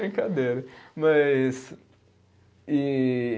Brincadeira, mas, e